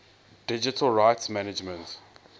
digital rights management